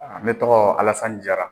ne tɔgɔ Alasani Jara.